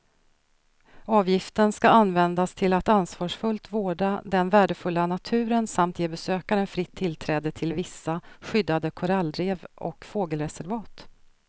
Avgiften ska användas till att ansvarsfullt vårda den värdefulla naturen samt ge besökaren fritt tillträde till vissa skyddade korallrev och fågelreservat.